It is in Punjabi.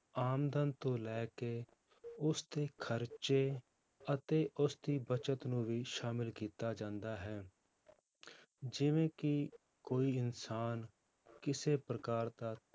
ਆਮਦਨ ਤੋਂ ਲੈ ਕੇ ਉਸਦੇ ਖ਼ਰਚੇ ਅਤੇ ਉਸਦੀ ਬਚਤ ਨੂੰ ਵੀ ਸ਼ਾਮਿਲ ਕੀਤਾ ਜਾਂਦਾ ਹੈ ਜਿਵੇਂ ਕਿ ਕੋਈ ਇਨਸਾਨ ਕਿਸੇ ਪ੍ਰਕਾਰ ਦਾ